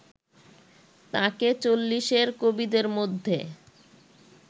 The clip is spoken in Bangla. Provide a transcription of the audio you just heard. তাঁকে চল্লিশের কবিদের মধ্যে